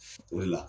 O de la